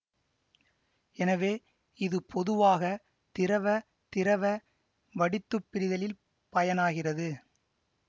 எனவே இது பொதுவாக திரவ திரவ வடித்துப் பிரிதலில் பயனாகிறது